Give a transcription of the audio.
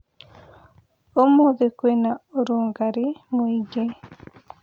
Ũmũthĩ kwĩna ũrugarĩ mũingĩ